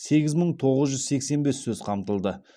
сегіз мың тоғыз жүз сексен бес сөз қамтылды